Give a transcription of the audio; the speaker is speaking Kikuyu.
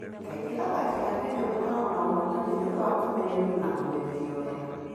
Kaingĩ athaki a Kenya makoragwo na ũhootani nĩ ũndũ wa kũmenyerio na kũmenyerio wega.